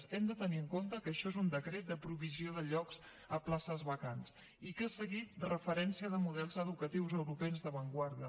hem de tenir en compte que això és un decret de provisió de llocs a places vacants i que ha seguit referència de models educatius europeus d’avantguarda